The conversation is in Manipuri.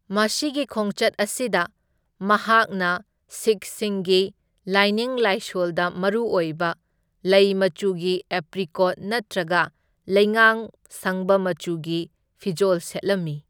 ꯃꯁꯤꯒꯤ ꯈꯣꯡꯆꯠ ꯑꯁꯤꯗ, ꯃꯍꯥꯛꯅ ꯁꯤꯈꯁꯤꯡꯒꯤ ꯂꯥꯏꯅꯤꯡ ꯂꯥꯏꯁꯣꯜꯗ ꯃꯔꯨ ꯑꯣꯏꯕ ꯂꯩ ꯃꯆꯨꯒꯤ ꯑꯦꯄ꯭ꯔꯤꯀꯣꯠ ꯅꯠꯇ꯭ꯔꯒ ꯂꯩꯉꯥꯡ ꯁꯪꯕ ꯃꯆꯨꯒꯤ ꯐꯤꯖꯣꯜ ꯁꯦꯠꯂꯝꯃꯤ꯫